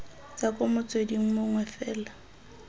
tswa ko motsweding mongwe fela